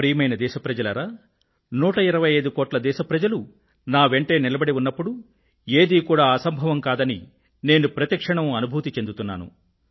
ప్రియమైన నా దేశ ప్రజలారా 125 కోట్ల దేశ ప్రజలు నా వెంటే నిలబడి ఉన్నప్పుడు ఏదీ కూడా అసంభవం కాదని నేను ప్రతి క్షణం అనుభూతి చెందుతున్నాను